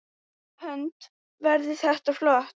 Hödd: Verður þetta flott?